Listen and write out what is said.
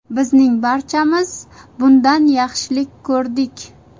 Bizning barchamiz bundan yaxshilik ko‘rdik.